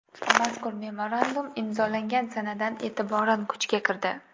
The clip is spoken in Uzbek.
Mazkur memorandum imzolangan sanadan e’tiboran kuchga kirdi.